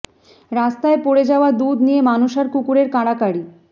রাস্তায় পড়ে যাওয়া দুধ নিয়ে মানুষ আর কুকুরের কাড়াকাড়ি